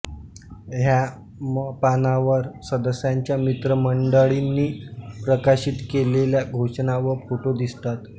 ह्या पानावर सदस्याच्या मित्रमंडळींनी प्रकाशित केलेल्या घोषणा व फोटो दिसतात